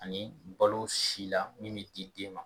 Ani balo si la min bi di den ma.